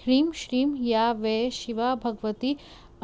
ह्रीं श्रीं या वै शिवा भगवती